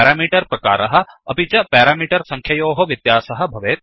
parameter प्रकारः अपि च पेरामीटर् सङ्ख्ययोः व्यत्यासः भवेत्